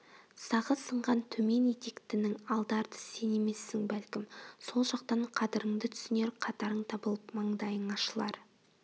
сағы сынған төмен етектінің алды-арты сен емессің бәлкім сол жақтан қадырыңды түсінер қатарың табылып маңдайың ашылар